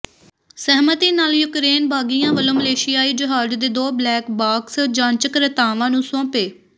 ਸਹਿਮਤੀ ਨਾਲ ਯੂਕਰੇਨ ਬਾਗੀਆਂ ਵੱਲੋਂ ਮਲੇਸ਼ੀਆਈ ਜਹਾਜ਼ ਦੇ ਦੋ ਬਲੈਕ ਬਾਕਸ ਜਾਂਚਕਰਤਾਵਾਂ ਨੂੰ ਸੌਪੇ